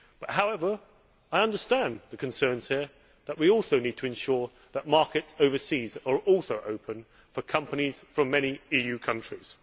However, I understand the concerns here that we also need to ensure that markets overseas are also open for companies from many EU countries.